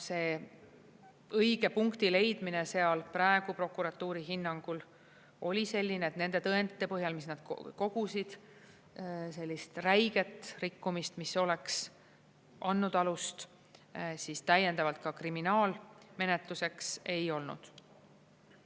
See õige punkti leidmine seal praegu prokuratuuri hinnangul oli selline, et nende tõendite põhjal, mis nad kogusid, sellist räiget rikkumist, mis oleks andnud alust täiendavalt ka kriminaalmenetluseks, ei olnud.